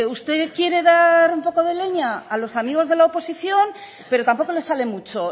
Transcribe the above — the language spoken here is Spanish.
usted quiere dar un poco de leña a los amigos de la oposición pero tampoco le sale mucho